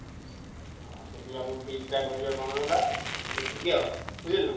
ସେଠି ଆମ feast ଟା କରିବା କଣ ହେଲା ଦେଖିକି ବୁଝିଲ ନା।